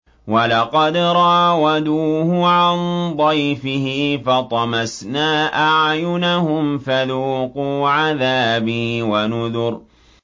وَلَقَدْ رَاوَدُوهُ عَن ضَيْفِهِ فَطَمَسْنَا أَعْيُنَهُمْ فَذُوقُوا عَذَابِي وَنُذُرِ